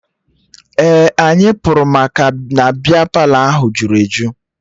Ee, anyị pụrụ maka na bịa Palọ ahụ jụrụ eju